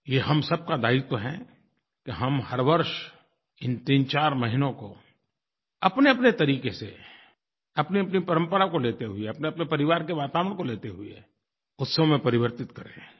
ये हम सब का दायित्व है कि हम हर वर्ष इन तीनचार महीनों को अपनेअपने तरीक़े से अपनीअपनी परंपरा को लेते हुए अपनेअपने परिवार के वातावरण को लेते हुए उत्सव में परिवर्तित करें